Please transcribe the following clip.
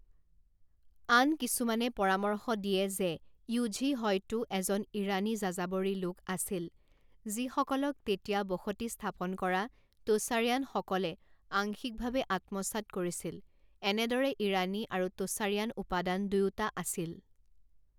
আন কিছুমানে পৰামৰ্শ দিয়ে যে য়ুঝি হয়তো এজন ইৰানী যাযাবৰী লোক আছিল, যিসকলক তেতিয়া বসতি স্থাপন কৰা টোচাৰিয়ানসকলে আংশিকভাৱে আত্মসাৎ কৰিছিল, এনেদৰে ইৰাণী আৰু টোচাৰিয়ান উপাদান দুয়োটা আছিল।